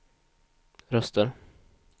röster